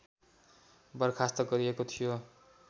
बर्खास्त गरिएको थियो